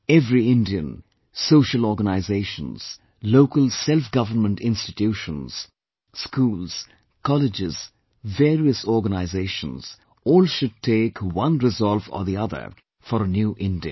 Every Indian, social organisations, Local SelfGovernment Institutions, schools, colleges, various organizations all should take one resolve or the other for a New India